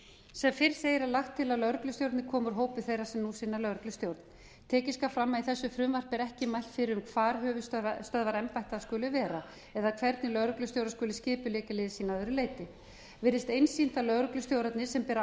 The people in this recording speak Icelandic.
sem fyrr segir er lagt til að lögreglustjórarnir komi úr hópi þeirra sem nú sinna lögreglustjórn tekið skal fram að í þessu frumvarpi er ekki mælt fyrir um hvar höfuðstöðvar embætta skuli vera eða hvernig lögreglustjórar skuli skipuleggja lið sín að öðru leyti virðist einsýnt að lögreglustjórarnir sem bera